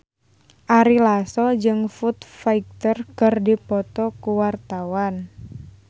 Ari Lasso jeung Foo Fighter keur dipoto ku wartawan